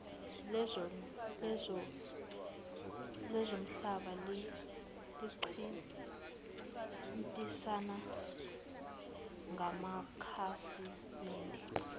lezomhlaba selincintisana ngamakhasimede